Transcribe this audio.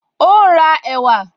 Ó n ra ẹ̀wà